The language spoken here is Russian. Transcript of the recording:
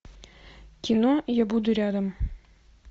кино я буду рядом